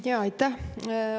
Aitäh!